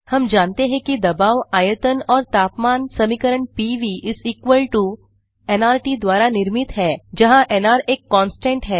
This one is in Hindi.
हम जानते हैं कि दबावआयतन और तापमान समीकरण पीवी नर्त द्वारा निर्मित है जहाँ एनआर एक कांस्टेंट है